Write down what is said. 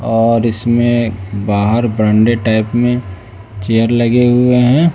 और इसमें बाहर बरंडे टाइप में चेयर लगे हुए हैं।